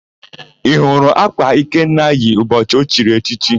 Ị hụrụ ákwà Ikenna yi ụbọchị o chiri echichi?